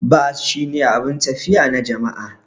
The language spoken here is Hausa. Bas shine abun tafiya na jama'a.